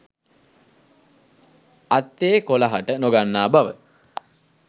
අත්තේ කොළ හට නොගන්නා බව